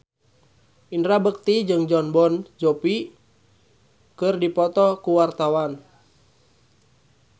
Indra Bekti jeung Jon Bon Jovi keur dipoto ku wartawan